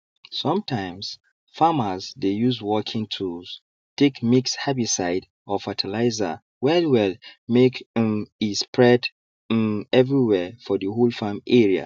sometimes farmers dey use working tools take mix herbicide or fertilizer wellwell make um e spread um everywere for the whole farm area